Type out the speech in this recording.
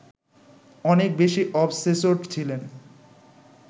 অনেক বেশি অবসেসড ছিলেন